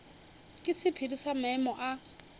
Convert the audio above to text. ke sephiri sa maemo a